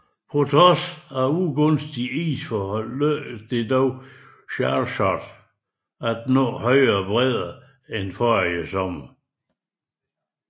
Trods ugunstige isforhold lykkedes det dog Charcot at nå højere bredder end forrige sommer